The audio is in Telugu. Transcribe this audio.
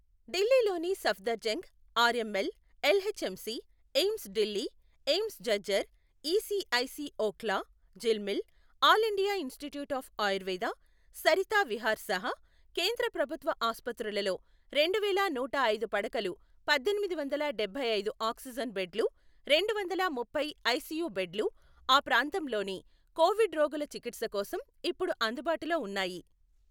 ఢిల్లీలోని Safdarjung, RML, LHMC, AIIMS Delhi, AIIMS Jhajjar, ESIC Okhla, Jhilmil, all India institute of Ayurveda, Sarita Vihar సహా కేంద్ర ప్రభుత్వ ఆసుపత్రులలో రెండువేల నూట ఐదు పడకలు పద్దెనిమిది వందల డబ్బై ఐదు ఆక్సిజన్ బెడ్లు, రెండు వందల ముప్పై ఐసియు బెడ్లు ఆ ప్రాంతంలోని కోవిడ్ రోగుల చికిత్స కోసం ఇప్పుడు అందుబాటులో ఉన్నాయి.